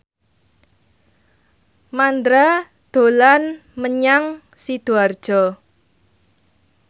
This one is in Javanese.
Mandra dolan menyang Sidoarjo